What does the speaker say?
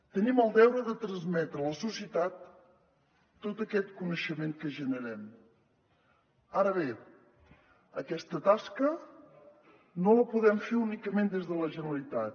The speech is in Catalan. tenim el deure de transmetre a la societat tot aquest coneixement que generem ara bé aquesta tasca no la podem fer únicament des de la generalitat